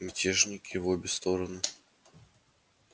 мятежники в обе стороны